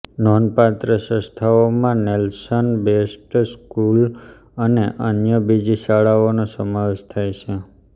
નોંધપાત્ર સંસ્થાઓમાં Nelson Best School અને અન્ય બીજી શાળાઓનો સમાવેશ થાય છે